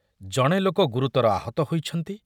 ଜଣେ ଲୋକ ଗୁରୁତର ଆହତ ହୋଇଛନ୍ତି ।